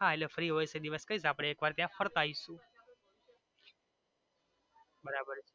હા free હોઈ એ દિવસે કયેસ અપડે એક દિવસ ફરતા આવીશુ બરાબર છે.